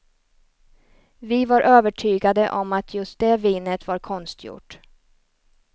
Vi var övertygade om att just det vinet var konstgjort.